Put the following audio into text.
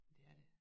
Det er det